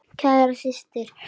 Kæra systir.